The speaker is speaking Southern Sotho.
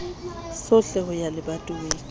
sohle ho ya lebatoweng le